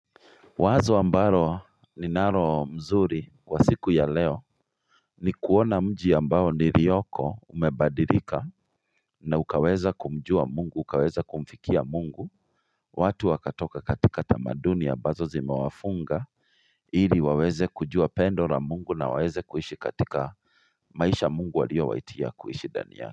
Wazo ambalo ninalo mzuri kwa siku ya leo ni kuona mji ambao nilioko umebadilika na ukaweza kumjua mungu ukaweza kumfikia mungu watu wakatoka katika tamadunia ambazo zimewafunga ili waweze kujua pendo la mungu na waweze kuishi katika maisha mungu aliyowaitia kuishi ndani yao.